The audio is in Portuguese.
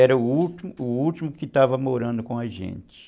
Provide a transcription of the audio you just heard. Era o último o último que estava morando com a gente.